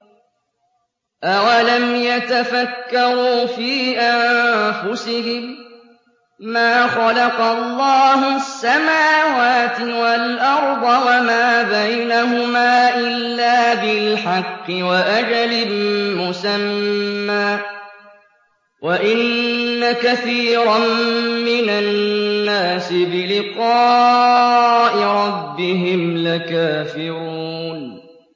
أَوَلَمْ يَتَفَكَّرُوا فِي أَنفُسِهِم ۗ مَّا خَلَقَ اللَّهُ السَّمَاوَاتِ وَالْأَرْضَ وَمَا بَيْنَهُمَا إِلَّا بِالْحَقِّ وَأَجَلٍ مُّسَمًّى ۗ وَإِنَّ كَثِيرًا مِّنَ النَّاسِ بِلِقَاءِ رَبِّهِمْ لَكَافِرُونَ